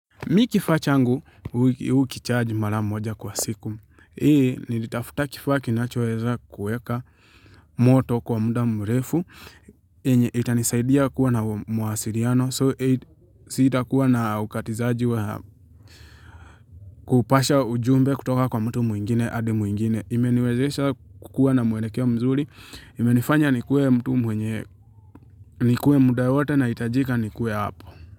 Mi kifaa changu, hukicharge mara moja kwa siku. Ie, nilitafuta kifaa kinachoweza kuweka moto kwa muda mrefu. Yenye itanisaidia kuwa na mawasiliano. So, siitakuwa na ukatizaji wa kupasha ujumbe kutoka kwa mtu mwingine, hadi mwingine. Imeniwezesha kukua na mwelekea mzuri. Imenifanya nikuwe mtu mwenye, nikuwe muda wote nahitajika nikuwe hapo.